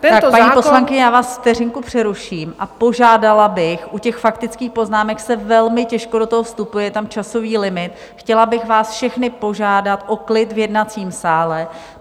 Paní poslankyně, já vás vteřinku přeruším a požádala bych - u těch faktických poznámek se velmi těžko do toho vstupuje, je tam časový limit - chtěla bych vás všechny požádat o klid v jednacím sále.